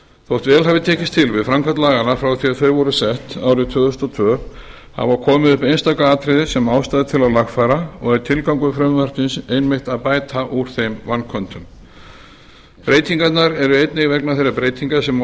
þótt vel hafi tekist til við framkvæmd laganna frá því að þau voru sett árið tvö þúsund og tvö hafa komið upp einstaka atriði sem ástæða er til að lagfæra og er tilgangur frumvarpsins einmitt að bæta úr þeim vanköntum breytingarnar eru einnig vegna þeirra breytinga sem orðið